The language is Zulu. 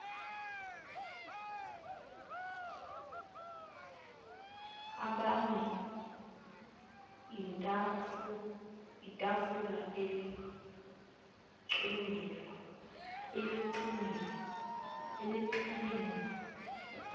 abane itafulana elixegelwa